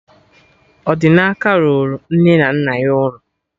Odinaka rụrụ nne na nna ya ụlọ